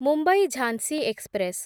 Mumbai Jhansi express